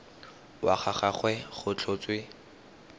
wa ga gagwe go tlhotswe